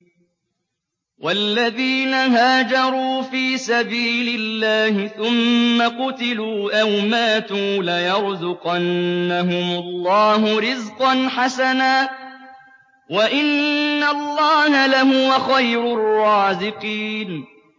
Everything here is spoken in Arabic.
وَالَّذِينَ هَاجَرُوا فِي سَبِيلِ اللَّهِ ثُمَّ قُتِلُوا أَوْ مَاتُوا لَيَرْزُقَنَّهُمُ اللَّهُ رِزْقًا حَسَنًا ۚ وَإِنَّ اللَّهَ لَهُوَ خَيْرُ الرَّازِقِينَ